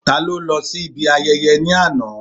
Ta ló lọ sí ibi ayẹyẹ ní àná?